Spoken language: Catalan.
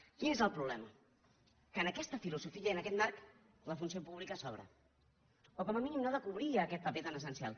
quin és el problema que en aquesta filosofia i en aquest marc la funció pública sobra o com a mínim no ha de cobrir aquest paper tan essencial